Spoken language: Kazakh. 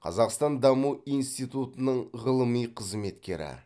қазақстан даму институтының ғылыми қызметкері